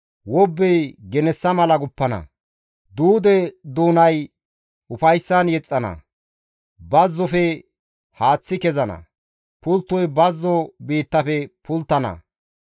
Wobbey genessa mala guppana; duude doonay ufayssan yexxana; bazzofe haaththi kezana; pulttoy bazzo biittafe pulttana.